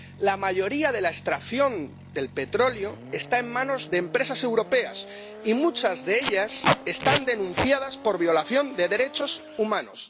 La mayoría de la extracción del petróleo está en manos de empresas europeas y muchas de ellas están denunciadas por violación de derechos humanos.